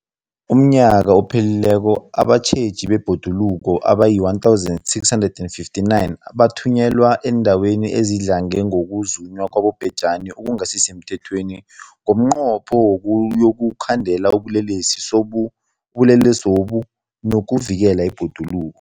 UmNnyaka ophelileko abatjheji bebhoduluko abayi-1 659 bathunyelwa eendaweni ezidlange ngokuzunywa kwabobhejani okungasi semthethweni ngomnqopho wokuyokukhandela ubulelesobu nokuvikela ibhoduluko.